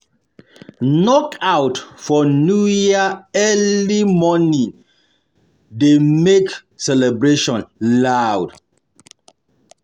Knockouts um for New Year early New Year early um morning dey make the celebration loud